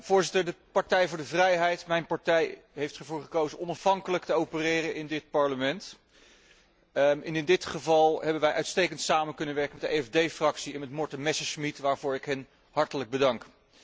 Voorzitter, de Partij voor de Vrijheid, mijn partij, heeft ervoor gekozen onafhankelijk te opereren in dit Parlement en in dit geval hebben wij uitstekend samen kunnen werken met de EFD Fractie en met collega Messerschmidt, waarvoor ik hen hartelijk bedank.